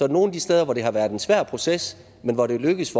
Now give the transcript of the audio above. det nogle af de steder hvor det har været en svær proces men hvor det er lykkedes